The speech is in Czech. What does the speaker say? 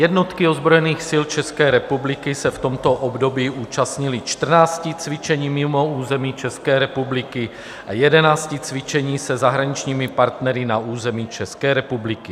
Jednotky ozbrojených sil České republiky se v tomto období účastnily 14 cvičení mimo území České republiky a 11 cvičení se zahraničními partnery na území České republiky.